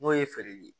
N'o ye feereli ye